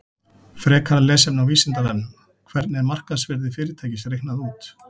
Frekara lesefni á Vísindavefnum: Hvernig er markaðsvirði fyrirtækis reiknað út?